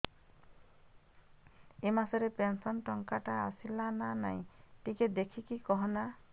ଏ ମାସ ରେ ପେନସନ ଟଙ୍କା ଟା ଆସଲା ନା ନାଇଁ ଟିକେ ଦେଖିକି କହନା